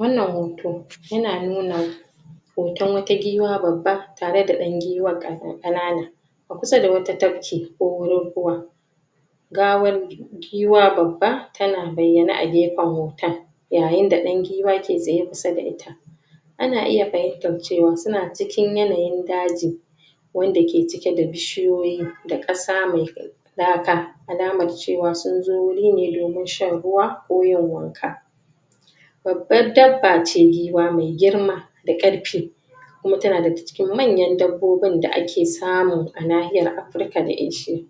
Wannan hoto yana nuna hoton wata giwa babba tare da dan giwan kan-kanana a kusa da wata tabke, ko wurin ruwa gawar giwa babba, tana bayyane a gefan hoton yayin da dan giwa ke tsaye kusa da ita. Ana iya fahimtar cewa suna cikin wata yanayin daji wanda ke cike da bishiyoyi da kasa mai laka, alamar cewa sun zo wuri ne domin shan ruwa ko yin wanka. Babbar dabba ce, giwa, mai girma da karfi kuma tana daga cikin manyan dabbobin da ake samu a nahiyar afrika da eshiya.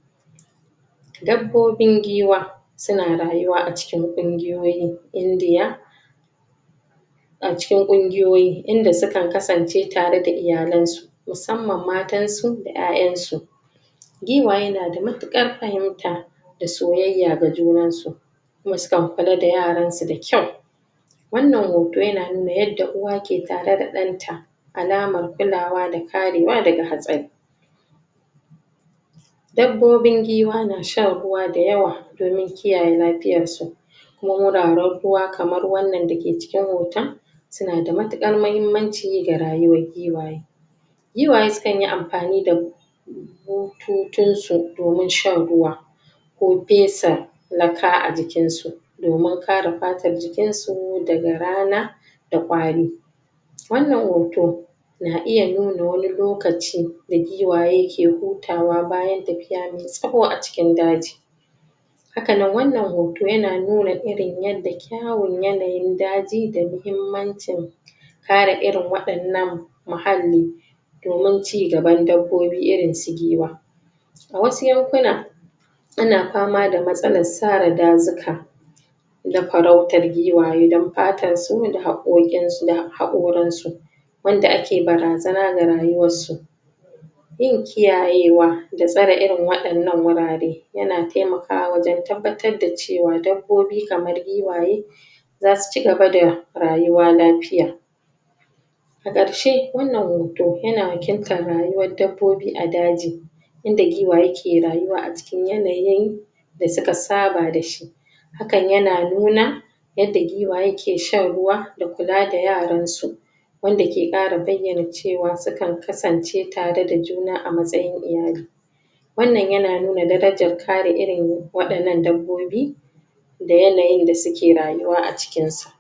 kuma tana daga cikin manyan dabbobin da aka samu a nahiyar afrika da Dabbobin giwa suna ruyuwa a cikin kungiyoyin indiya, a cikin kungiyoyi inda sukan kasance tare da iyalen su musamman matan su da 'ya'yan su. Giwaye na da matukan fahimta da soyyaya ga junan su kuma sukan kula da yaran su da kyau. Wannan hoto yana nuna yada uwa ke tare da dan ta, alamar kulawa da karewa daga hatsari. Dabbobin giwa na shan ruwa dayawa domin kiyaye da lafiyar su kuma muna rakkuwa kamar wannan dake cikin hoton, suna da matukar mahimmanci ga rayuwar giwaye. suna da mutukar m Giwaye sukan yi amfani da bututun su domin shan ruwa ko fesa lakka a jikinsu ko fesa lakka a jikin su domin kara fatar jikin su daga rana da kwari. Wannan hoto na iya nuna wani lokaci da giwaye ke hutuwa bayan tafiya mai tsaho a cikin daji Hakannan wannan hoto yana nuna irin yadda kyawun yanayin daji da muhimmancin kara irin wad'annan muhalli domin cigaban dabbobi irin su giwa. A wasu yankuna ana fama da matsalar sara dazuka da farautar giwaye don fatar su da harkokin sun, hakorin su wanda ake barazana ga rayuwar su. Yin kiyayewa da tsare irin wadanan wurare yana taimakawa da tabbatar da cewa dabbobi kamar giwaye zasu cigaba da rayuwa lafiya. A karshe, wannan hoto yana wakilta da rayuwar dabbobi a daji yana giwaye ke rayuwa a cikin yanayin da suka saba da shi. Hakan yana nuna yadda giwaye ke shan ruwa da kula da yaran su, wanda ke kara bayyana cewa sukan kasance tare da juna a matsayin iyali. Wannan yana nuna darajar kare irin wadannan dabbobi da yanayin da suke rayuwa a cikin sa.